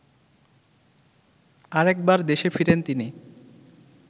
আরেকবার দেশে ফিরেন তিনি